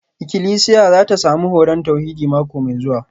Ikilisiya za ta sami horon tauhidi mako mai zuwa